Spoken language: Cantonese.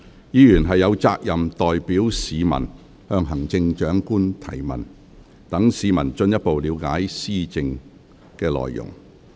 議員有責任代表市民向行政長官提問，讓市民進一步了解施政內容。